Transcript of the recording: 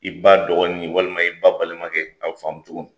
I ba dɔgɔnin walima i ba balimakɛ a bi faamu cogo min.